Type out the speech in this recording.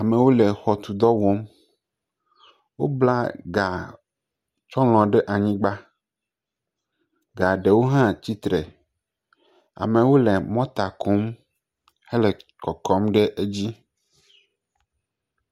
Amewo le xɔ tɔ dɔ wɔm. Wobla ga tsɔlɔ ɖe anyigba. Ga ɖewo hã tsi tre. Amewo le mɔta kɔm hele kɔkɔm ɖe edzi.